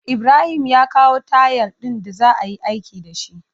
Ibrahim ya kawo tayal din da za'ayi aiki dashi